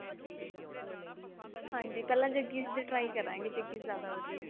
ਪਹਿਲਾਂ ਜੱਗੀ ਦੇ try ਕਰਾਂਗੇ ਜੱਗੀ ਜਿਆਦਾ ਵਧੀਆ